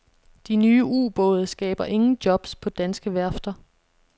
De nye ubåde skaber ingen jobs på danske værfter.